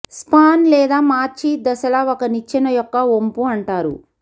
span లేదా మార్చి దశల ఒక నిచ్చెన యొక్క వొంపు అంటారు